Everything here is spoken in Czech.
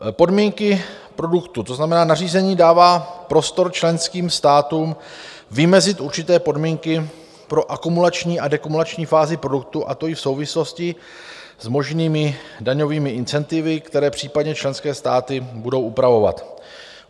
Podmínky produktu: to znamená, nařízení dává prostor členským státům vymezit určité podmínky pro akumulační a dekumulační fázi produktu, a to i v souvislosti s možnými daňovými incentivy, které případně členské státy budou upravovat.